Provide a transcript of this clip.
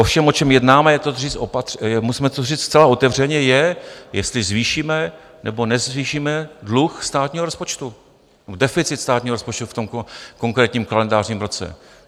Ovšem o čem jednáme, musíme to říct zcela otevřeně, je, jestli zvýšíme, nebo nezvýšíme dluh státního rozpočtu, deficit státního rozpočtu v tom konkrétním kalendářním roce.